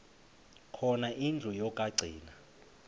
khona indlu yokagcina